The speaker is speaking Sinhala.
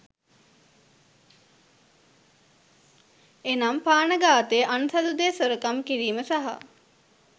එනම් ප්‍රාණඝාතය , අන්සතුදේ සොරකම් කිරීම සහ